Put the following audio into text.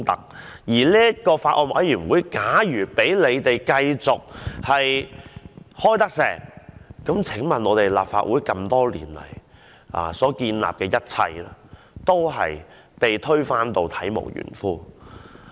假如我們繼續讓這個法案委員會召開會議的話，那麼立法會多年來所建立的一切，都會被推翻得體無完膚。